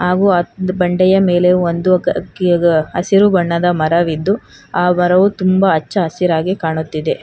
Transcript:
ಹಾಗು ಆ ಬಂಡೆಯ ಮೇಲೆ ಒಂದು ಅ ಕಿಗ ಹಸಿರು ಬಣ್ಣದ ಮರವಿದ್ದು ಆ ಮರವು ತುಂಬಾ ಅಚ್ಚ ಹಸಿರಾಗಿ ಕಾಣುತ್ತಿದೆ.